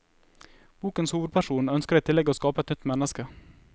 Bokens hovedperson ønsker i tillegg å skape et nytt menneske.